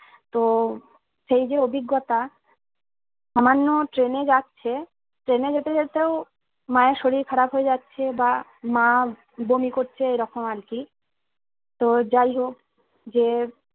তো সেই যে অভিজ্ঞতা সামান্য ট্রেনে যাচ্ছে ট্রেনে যেতে যেতেও মা এর শরীর খারাপ হয়ে যাচ্ছে বা মা বমি করছে এইরকম আর কি তো যাই হোক যে